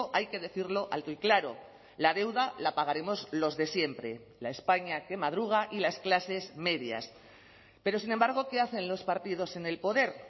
hay que decirlo alto y claro la deuda la pagaremos los de siempre la españa que madruga y las clases medias pero sin embargo qué hacen los partidos en el poder